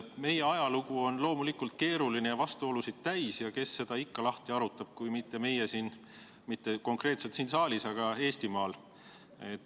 Meie ajalugu on loomulikult keeruline ja vastuolusid täis ja kes seda ikka lahti arutab, kui mitte meie siin – mitte konkreetselt meie siin saalis, aga meie kõik Eestimaal.